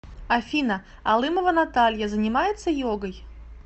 афина алымова наталья занимается йогой